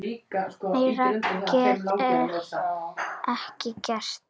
Meira get ég ekki gert.